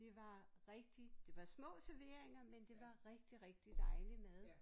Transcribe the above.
Det var rigtig det var små serveringer men det var rigtig rigtig dejlig mad